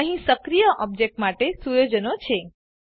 અહીં સક્રીય ઓબજેક્ટ માટેના સુયોજનો છે